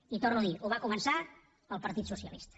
i ho torno a dir ho va començar el partit socialista